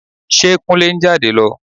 Ṣe Kúnlé ń jáde lọ?